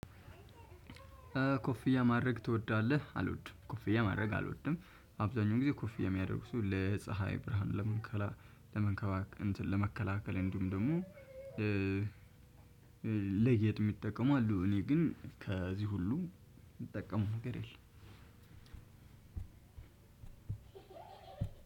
ኮፍያ ማድረግ ትወዳለህ አልወድም ኮፍያ ማድረግ አልወድም። አብዛኛው ጊዜ ኮፍያ የሚያደርጉ ለፀሀይ ብርሃን ለመንከባ ለመከላከል እንዲሁም ደግሞ ለጌጥ የሚጠቀሙ አሉ። እኔ ግን ከዚህ ሁሉ ምጠቀመው ነገር የለም።